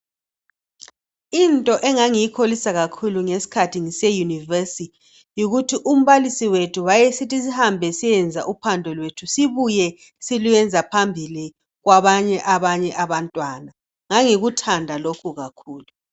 Into engangiyikholisa kakhulu ngeskhathi ngiseyunivesi, yikuthi umbalisi wethu wayesithi sihambe siyekwenza uphando lwethu sibuye silwenza phambi kwabanye abantwana. Ngangikuthanda lokhu kakhulu.